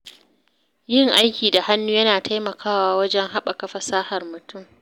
Yin aiki da hannu yana taimakawa wajen haɓaka fasahar mutum.